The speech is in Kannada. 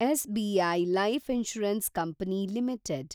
SBI Life Insurance Company limited